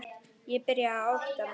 Ég byrjaði að átta mig.